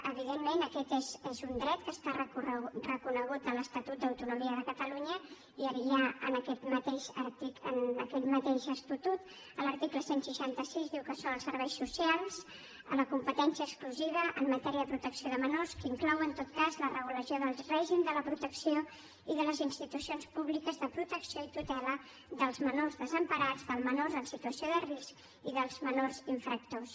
evidentment aquest és un dret que està reconegut a l’estatut d’autonomia de catalunya i ja en aquest mateix estatut l’article cent i seixanta sis diu que són els serveis socials a la competència exclusiva en matèria protecció de menors que inclou en tot cas la regulació del règim de la protecció i de les institucions públiques de protecció i tutela dels menors desemparats dels menors en situació de risc i dels menors infractors